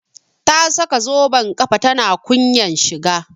Ta saka zoben kafa tana kunyan shiga